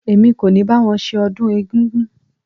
Èmi kò ní bá wọn ṣe ọdún egúngún.